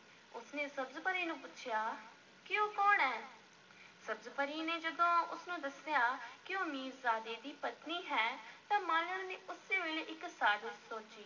ਉਸ ਨੇ ਸਬਜ਼-ਪਰੀ ਨੂੰ ਪੁੱਛਿਆ ਕਿ ਉਹ ਕੌਣ ਹੈ, ਸਬਜ਼-ਪਰੀ ਨੇ ਜਦੋਂ ਉਸ ਨੂੰ ਦੱਸਿਆ ਕਿ ਉਹ ਮੀਰਜ਼ਾਦੇ ਦੀ ਪਤਨੀ ਹੈ ਤਾਂ ਮਾਲਣ ਨੇ ਉਸੇ ਵੇਲੇ ਇੱਕ ਸਾਜ਼ਸ਼ ਸੋਚੀ।